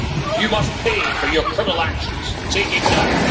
You must pay for your criminal actions take him down'.